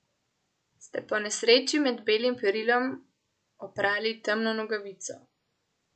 Ste po nesreči med belim perilom oprali temno nogavico?